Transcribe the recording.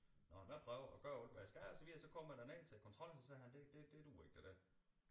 Og jeg prøver at gøre alt hvad jeg skal og så videre så kommer jeg derned til kontrol så siger han det det det duer ikke det der